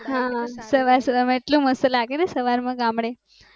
હા હા સવાર સવાર માં એવું મસ્ત લાગે ને ગામડે